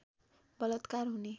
बलात्कार हुने